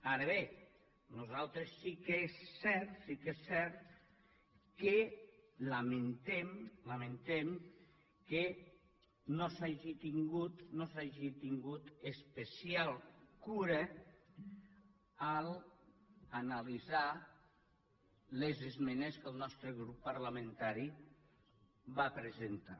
ara bé nosaltres sí que és cert que lamentem que no s’hagi tingut especial cura a l’analitzar les esmenes que el nostre grup parlamentari va presentar